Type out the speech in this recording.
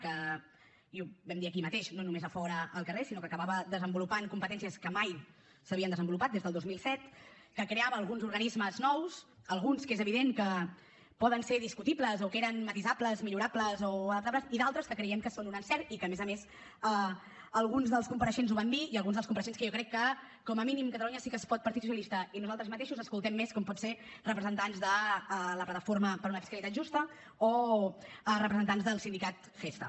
i ho vam dir aquí mateix no només a fora al carrer sinó que acabava desenvolupant competències que mai s’havien desenvolupat des del dos mil set que creava alguns organismes nous alguns que és evident que po den ser discutibles o que eren matisables millorables o adaptables i d’altres que creiem que són un encert i que a més a més alguns dels compareixents ho van dir i alguns dels compareixents que jo crec que com a mínim catalunya sí que es pot partit socialista i nosaltres mateixos escoltem més com pot ser representants de la plataforma per una fiscalitat justa o representants del sindicat gestha